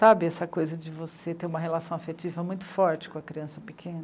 Sabe essa coisa de você ter uma relação afetiva muito forte com a criança pequena?